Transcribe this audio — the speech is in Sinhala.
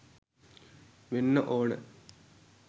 වෙන්න ඕන.